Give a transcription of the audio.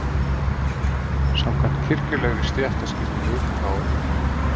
Samkvæmt kirkjulegri stéttaskiptingu á